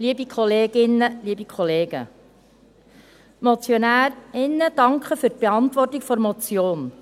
Die Motionärinnen und Motionäre danken für die Beantwortung der Motion.